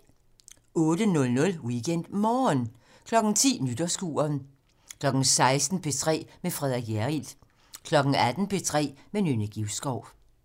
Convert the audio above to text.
08:00: WeekendMorgen 10:00: Nytårskuren 16:00: P3 med Frederik Hjerrild 18:00: P3 med Nynne Givskov